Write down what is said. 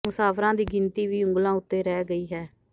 ਮੁਸਾਫ਼ਰਾਂ ਦੀ ਗਿਣਤੀ ਵੀ ਉਂਗਲਾ ਉਤੇ ਰਹਿ ਗਈ ਹੈ